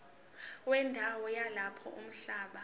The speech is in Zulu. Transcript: wendawo yalapho umhlaba